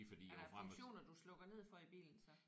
Er der funktioner du slukker ned for i bilen så?